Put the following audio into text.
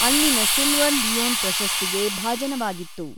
ಅಲ್ಲಿನ silver lion ಪ್ರಶಸ್ತಿಗೆ ಭಾಜನವಾಗಿತ್ತು.